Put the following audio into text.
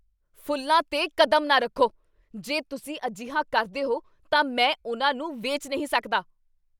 ਫ਼ੁੱਲਾਂ 'ਤੇ ਕਦਮ ਨਾ ਰੱਖੋ! ਜੇ ਤੁਸੀਂ ਅਜਿਹਾ ਕਰਦੇ ਹੋ ਤਾਂ ਮੈਂ ਉਨ੍ਹਾਂ ਨੂੰ ਵੇਚ ਨਹੀਂ ਸਕਦਾ!